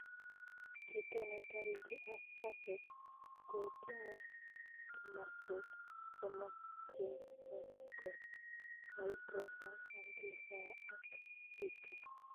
Kiito netariti kaset kotinye emaswek somok chotok koo microphone amplifier ak speaker